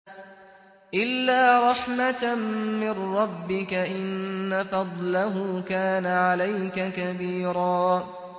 إِلَّا رَحْمَةً مِّن رَّبِّكَ ۚ إِنَّ فَضْلَهُ كَانَ عَلَيْكَ كَبِيرًا